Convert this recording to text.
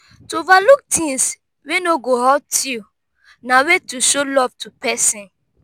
to overlook things wey no go hurt you na way to show love to persin